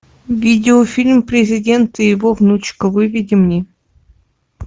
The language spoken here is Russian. видеофильм президент и его внучка выведи мне